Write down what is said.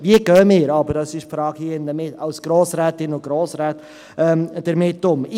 Wie gehen wir – das ist die Frage hier drin – als Grossrätinnen und Grossräte damit um?